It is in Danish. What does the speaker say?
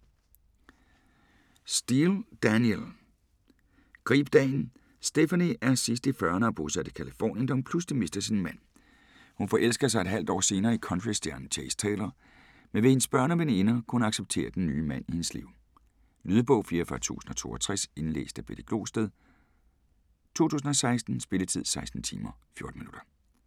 Steel, Danielle: Grib dagen Stephanie er sidst i 40'erne og bosat i Californien, da hun pludselig mister sin mand. Hun forelsker sig et halvt år senere i countrystjernen Chase Taylor, men vil hendes børn og veninder kunne acceptere den nye mand i hendes liv? Lydbog 44062 Indlæst af Betty Glosted, 2016. Spilletid: 16 timer, 14 minutter.